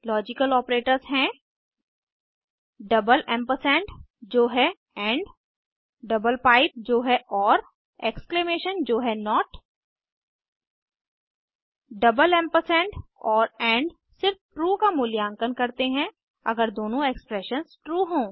logical operators हैं double ampersand amp amp जो है डबल पाइप जो है एक्सक्लेमेशन जो है एम्पैम्प और एंड सिर्फ ट्रू का मूल्यांकन करते हैं अगर दोनों एक्सप्रेशंस ट्रू हों